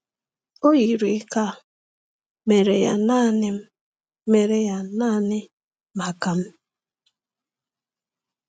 O yiri ka a mere ya naanị mere ya naanị maka m.